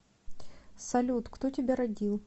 салют кто тебя родил